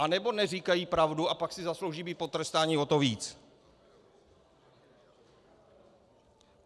Anebo neříkají pravdu, a pak si zaslouží být potrestáni o to víc.